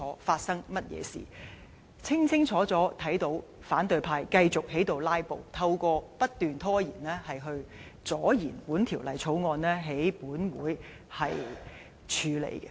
大家清清楚楚看到，反對派繼續"拉布"，透過不斷拖延，阻延本會處理這《條例草案》。